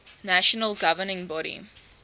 national governing body